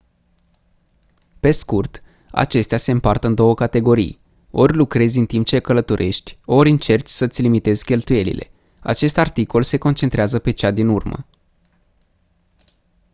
pe scurt acestea se împart în două categorii ori lucrezi în timp ce călătorești ori încerci să îți limitezi cheltuielile acest articol se concentrează pe cea din urmă